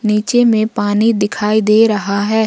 नीचे में पानी दिखाई दे रहा है।